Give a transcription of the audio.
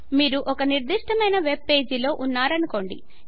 మీరు ఒక నిర్దిష్టమైన వెబ్ పేజి లో ఉన్నారనుకోండి